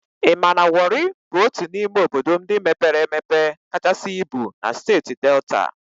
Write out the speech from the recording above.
I ma na Wọri bụ otu n'ime obodo ndị mepere emepe kachasị ibu na Steeti Delta?